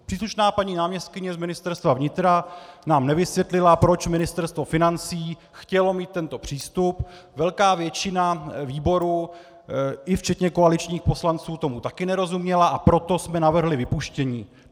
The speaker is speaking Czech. Příslušná paní náměstkyně z Ministerstva vnitra nám nevysvětlila, proč Ministerstvo financí chtělo mít tento přístup, velká většina výboru, i včetně koaličních poslanců, tomu také nerozuměla, a proto jsme navrhli vypuštění.